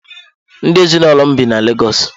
Ndị ezinụlọ m bi na Lagos.